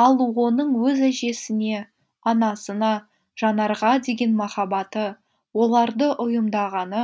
ал оның өз әжесіне анасына жанарға деген махаббаты оларды ұйымдағаны